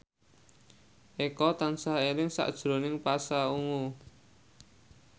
Eko tansah eling sakjroning Pasha Ungu